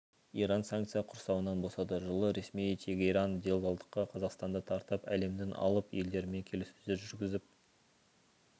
иран санкция құрсауынан босады жылы ресми тегеран делдалдыққа қазақстанды тартып әлемнің алып елдерімен келіссөздер жүргізіп